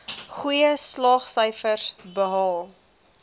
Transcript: goeie slaagsyfers behaal